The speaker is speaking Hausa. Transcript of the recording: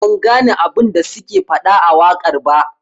Ban gane abun da suke fada a wakar ba.